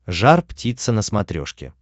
жар птица на смотрешке